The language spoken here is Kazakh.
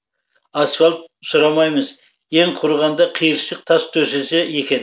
асфальт сұрамаймыз ең құрығанда қиыршық тас төсесе екен